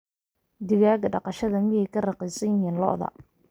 digaaga dhaqashada miyee ka raqiisan yihiin lo'da